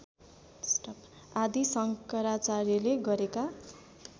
आदि शंकराचार्यले गरेका